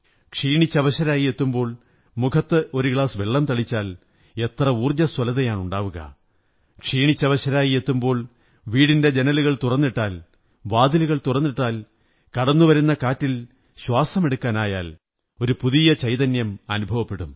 ക്ഷീണിച്ചവശരായി എത്തുമ്പോൾ മുഖത്ത് ഒരു ഗ്ലാസ് വെള്ളം തളിച്ചാൽ എത്ര ഊര്ജ്ജചസ്വലതയാണുണ്ടാവുക ക്ഷീണിച്ചവശരായി എത്തുമ്പോൾ വീടിന്റെ ജനലുകൾ തുറന്നിട്ടാൽ വാതിലുകൾ തുറന്നിട്ടാൽ കടന്നുവരുന്ന കാറ്റിൽ ശ്വാസമെടുക്കാനായാൽ ഒരു പുതിയ ചൈതന്യം അനുഭവപ്പെടും